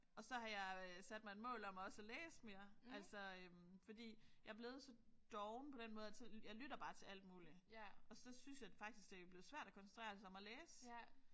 Og så har jeg sat mig et mål om også at læse mere altså fordi jeg er blevet så doven på den måde at så jeg lytter bare til alt muligt og så synes jeg faktisk det er blevet svært at koncentrere sig om at læse